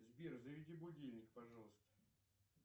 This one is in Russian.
сбер заведи будильник пожалуйста